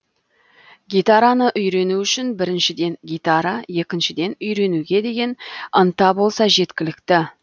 гитараны үйрену үшін біріншіден гитара екіншіден үйренуге деген ынта болса жеткілікті